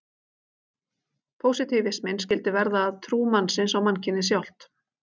Pósitífisminn skyldi verða að trú mannsins á mannkynið sjálft.